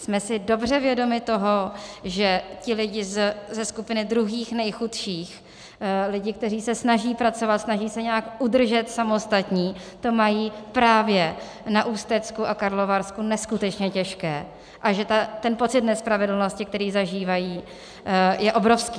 Jsme si dobře vědomi toho, že ti lidé ze skupiny druhých nejchudších, lidé, kteří se snaží pracovat, snaží se nějak udržet samostatní, to mají právě na Ústecku a Karlovarsku neskutečně těžké a že ten pocit nespravedlnosti, který zažívají, je obrovský.